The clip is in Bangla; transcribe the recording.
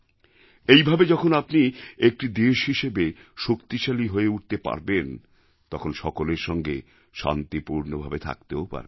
এইভাবে যখন আপনি একটি দেশ হিসেবে শক্তিশালী হয়ে উঠতে পারবেন তখন সকলের সঙ্গে শান্তিপূর্ণভাবে থাকতেও পারবেন